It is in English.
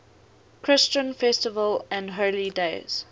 christian festivals and holy days